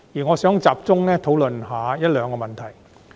我想集中討論一兩個問題。